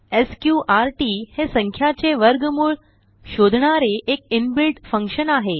sqrtहे संख्याचे वर्गमूळ शोधणारे एक इनबिल्ट फंक्शन आहे